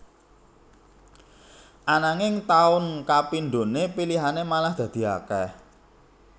Ananging taun kapindhone pilihane malah dadi akeh